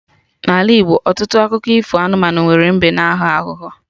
N'Ala Igbo, ọtụtụ akụkọ ifo anụmanụ nwere mbe na aghọ aghụghọ